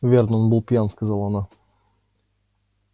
верно он был пьян сказала она